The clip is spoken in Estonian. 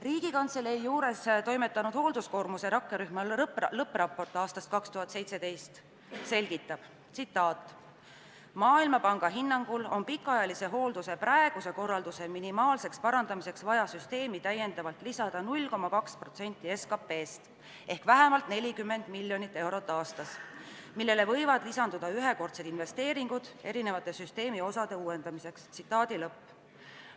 Riigikantselei juures toimetanud hoolduskoormuse vähendamise rakkerühma lõppraport aastast 2017 selgitab: "Maailmapanga hinnangul on pikaajalise hoolduse praeguse korralduse minimaalseks parandamiseks vaja süsteemi täiendavalt lisada 0,2% SKP-st ehk vähemalt 40 miljonit eurot aastas, millele võivad lisanduda ühekordsed investeeringud erinevate süsteemi osade uuendamiseks ja arendamiseks.